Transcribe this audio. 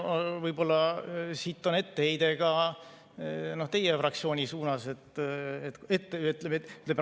Jah, võib-olla see on etteheide ka teie fraktsioonile.